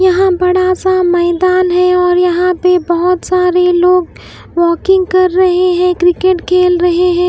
यहाँ बड़ा सा मैदान है और यहाँ पे बहुत सारे लोग वॉकिंग कर रहे हैं क्रिकेट खेल रहे हैं।